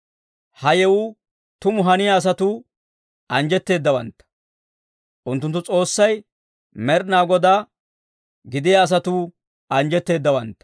Ha yewuu tumu haniyaa asatuu, anjjetteeddawantta. Unttunttu S'oossay Med'inaa Godaa gidiyaa asatuu anjjetteeddawantta.